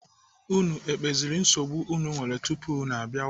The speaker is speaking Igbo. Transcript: Unu ekpeziri nsogbu unu nwere tupu unu abịawa?